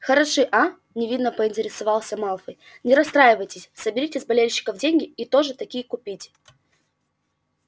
хороши а невинно поинтересовался малфой не расстраивайтесь соберите с болельщиков деньги и тоже такие купите